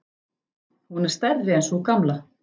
Hún er stærri en sú gamla.